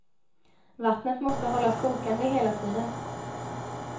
Vattnet måste hållas kokande hela tiden.